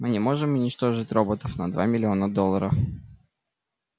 мы не можем уничтожить роботов на два миллиона долларов